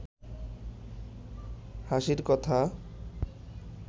হাসির কথা